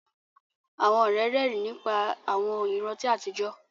Àwọn ọ̀rẹ́ rẹ́rìn nípa àwọn ìrántí àtijọ́